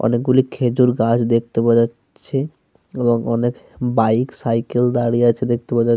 অনেকগুলি খেজুর গাছ দেখতে পাওয়া যাচ্ছে এবং অনেক বাইক সাইকেল দাঁড়িয়ে আছে. দেখতে পাওয়া --